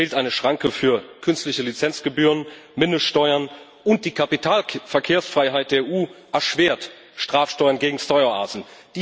Es fehlt eine Schranke für künstliche Lizenzgebühren, Mindeststeuern, und die Kapitalverkehrsfreiheit der EU erschwert Strafsteuern gegen Steueroasen.